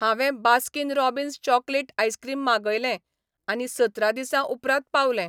हांवें Baskin Robbins chocolate ice cream मागयलें आनी सतरा दिसां उपरांत पावलें.